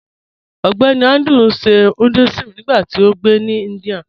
Ọgbẹ́nì Andrew n ṣè Hinduism nígbàtí ó ngbé ní India